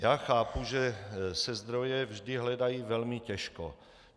Já chápu, že se zdroje vždy hledají velmi těžko.